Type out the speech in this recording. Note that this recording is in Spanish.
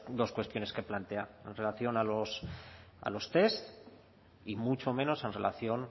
dos cuestiones que plantea en relación a los test y mucho menos en relación